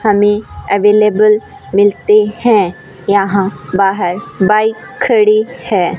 हमें अवेलेबल मिलते हैं यहां बाहर बाइक खड़ी है।